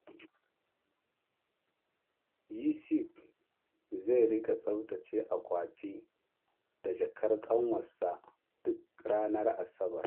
Yusuf zai rika tsaftace akwati da jakar ƙanwarsa duk ranar Asabar.